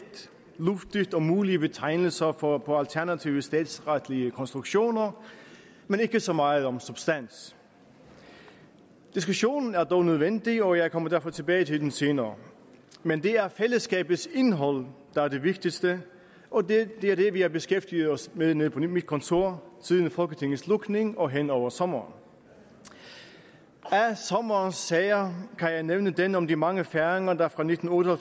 luftigt om mulige betegnelser på alternative statsretlige konstruktioner men ikke så meget om substans diskussionen er dog nødvendig og jeg kommer derfor tilbage til den senere men det er fællesskabets indhold der er det vigtigste og det er det vi har beskæftiget os med nede på mit kontor siden folketingets lukning og hen over sommeren af sommerens sager kan jeg nævne den om de mange færinger der fra nitten otte og